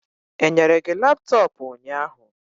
Enyere gi laptọọpụ ụnyahụ?